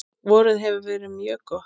Vorið hefur verið mjög gott.